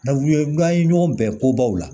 Nafu ye n ye ɲɔgɔn bɛn kobaw la